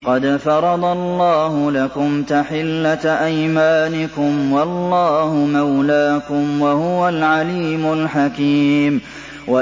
قَدْ فَرَضَ اللَّهُ لَكُمْ تَحِلَّةَ أَيْمَانِكُمْ ۚ وَاللَّهُ مَوْلَاكُمْ ۖ وَهُوَ الْعَلِيمُ الْحَكِيمُ